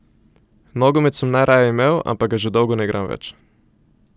Nogomet sem najraje imel, ampak ga že dolgo ne igram več.